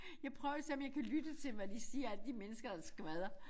Jeg prøver og se om jeg kan lytte til hvad de siger alle de mennesker der skvadrer